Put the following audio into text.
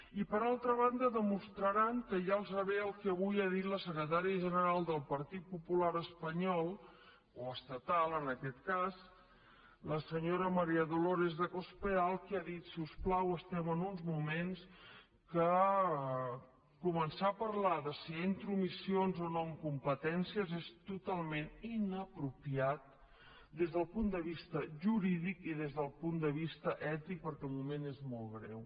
i per altra banda demostraran que ja els va bé el que avui ha dit la secretària general del partit popular espanyol o estatal en aquest cas la senyora maría dolors de cospedal que ha dit si us plau estem en uns moments que començar a parlar de si hi ha intromissions o no en competències és totalment inapropiat des del punt de vista jurídic i des del punt de vista ètic perquè el moment és molt greu